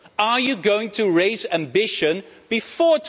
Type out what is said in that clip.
Are you going to raise ambition before